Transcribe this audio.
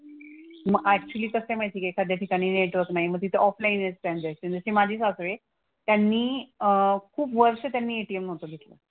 मग ऍक्चुअली कसं आहे माहिती आहे का एखाद्या ठिकाणी नेटवर्क नाही मग तिथे ऑफलाईनच ट्रांझॅक्शन. जसे माझे सासरे त्यांनी अह खूप वर्ष त्यांनी ATM नव्हतं घेतलं.